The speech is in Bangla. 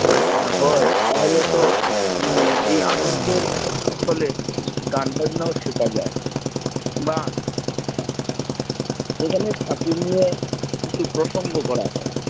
এ হয়ে, তাহলে তো এই আনন্দের ছলে গান-বাজনা ও শেখা যায় বা এখানে ফাকি নিয়ে কিছু প্রসঙ্গ করা হয়